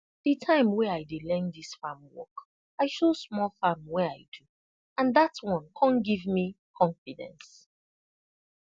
de time wen i dey learn this farm work i show small farm wey i do and dat one com give me confidence